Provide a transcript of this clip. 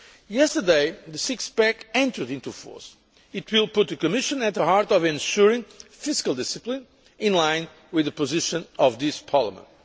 Yesterday the six pack' entered into force. It will put the Commission at the heart of ensuring fiscal discipline, in line with the position of this Parliament.